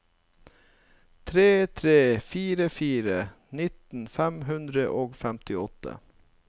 tre tre fire fire nitten fem hundre og femtiåtte